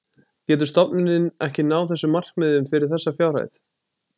Getur stofnunin ekki náð þessum markmiðum fyrir þessa fjárhæð?